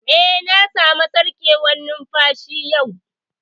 Eh, na samu sarƙewar numfashi yau